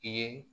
I ye